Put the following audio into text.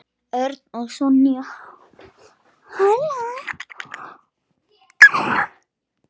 Örn og Sonja.